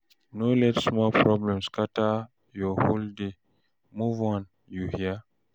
No let small problem scatter your whole day, move on, you hear?